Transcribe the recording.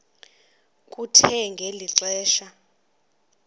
kuthe ngeli xesha